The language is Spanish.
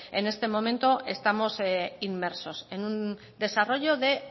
en este momento estamos inmersos en un desarrollo de